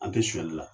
An tɛ sonyali la